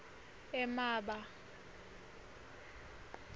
emaba